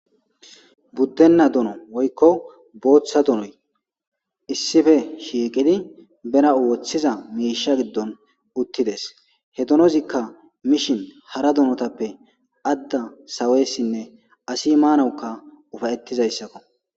buddenna duno woykko booththa dunoy issife shiiqidi bena woththiza miisha giddon uttides he donozikka mishin hara dunotappe adda saweessinne asi maanawuka ufayettizayssakko